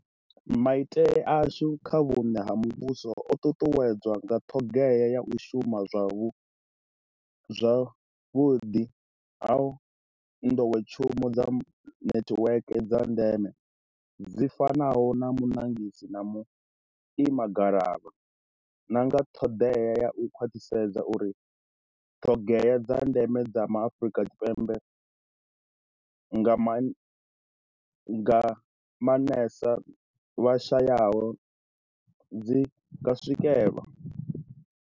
Maitele ashu kha vhuṋe ha muvhuso o ṱuṱuwedzwa nga ṱoḓea ya u shuma zwavhuḓi ha ḓowetshumo dza netiweke dza ndeme, dzi fanaho na muṋagasi na vhuimagalavha, na nga ṱoḓea ya u khwaṱhisedza uri ṱoḓea dza ndeme dza Ma Afrika Tshipembe, nga maanṅesa vha shayaho, dzi nga swikelwa.